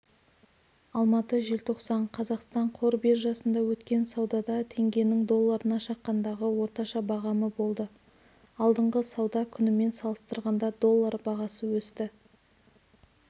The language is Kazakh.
алматы желтоқсан қазақстан қор биржасында өткен саудада теңгенің долларына шаққандағы орташа бағамы болды алдыңғы сауда күнімен салыстырғанда доллар бағасы өсті